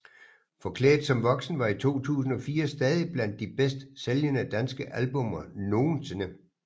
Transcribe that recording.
Forklædt som voksen var i 2004 stadig blandt de bedst sælgende danske albummer nogensinde